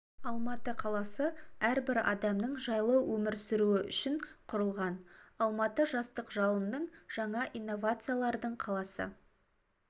алматы қаласы әрбір адамның жайлы өмір сүруі үшін құрылған алматы жастық жалынның жаңа инновациялардың қаласы